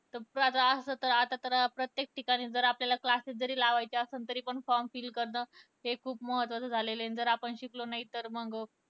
तर असं तर आता तर प्रत्येक ठिकाणी जर आपल्याला classes जरी लावायचे असले तरी पण form fill करणं हे खूप महत्वाचं झालेल आहे. जर आपण शिकलो नाही तर मग